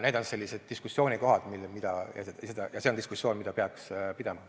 Need on sellised diskussioonikohad ja see on diskussioon, mida peaks pidama.